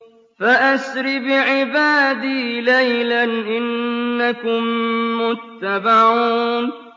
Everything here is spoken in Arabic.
فَأَسْرِ بِعِبَادِي لَيْلًا إِنَّكُم مُّتَّبَعُونَ